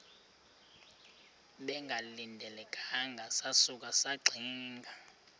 bengalindelanga sasuka saxinga